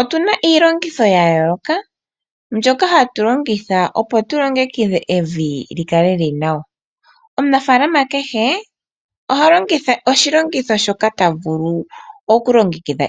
Otu na iilongitho ya yooloka mbyoka hatu longitha opo tulongekidhe evi li kale lili nawa. Omunafalama kehe oha longitha oshilongitho shoka ta vulu okulongitha